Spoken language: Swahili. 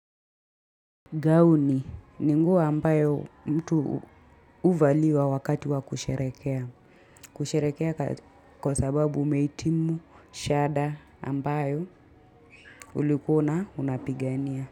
Gauni ni nguo ambayo mtu huvaliwa wakati wa kusherehekea. Kusherehekea kwa sababu umehitimu, shada ambayo ulikuwa una unapigania.